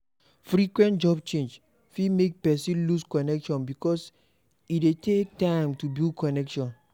Frequent job change fit make person lose connection because e dey take time to build connection